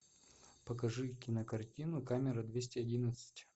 покажи кинокартину камера двести одиннадцать